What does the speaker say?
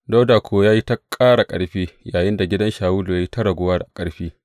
Dawuda kuwa ya yi ta ƙara ƙarfi, yayinda gidan Shawulu ya yi ta raguwa a ƙarfi.